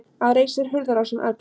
Að reisa sér hurðarás um öxl